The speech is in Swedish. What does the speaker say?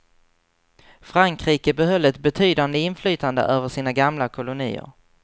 Frankrike behöll ett betydande inflytande över sina gamla kolonier.